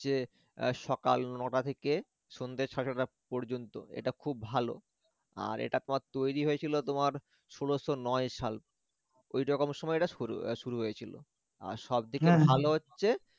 যে এর সকাল নটা থেকে সন্ধে সারে ছটা পর্যন্ত এটা খুব ভাল আর এটা তৈরি হয়েছিল তোমার ষোলশ নয় সাল ঐ রকম সময়ে ঐটা শুরু এর শুরু হয়েছিল আর সবদিকে ভালো হচ্ছে